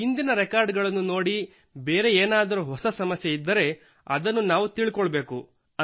ಹಿಂದಿನ ರೆಕಾರ್ಡ್ ಗಳನ್ನು ನೋಡಿ ಇನ್ನೇನಾದರೂ ಹೊಸ ಸಮಸ್ಯೆ ಇದ್ದರೆ ಅದನ್ನು ನಾವು ತಿಳಿದುಕೊಳ್ಳಬೇಕು